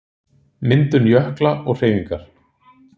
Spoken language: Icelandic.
Myndun jökla og hreyfingar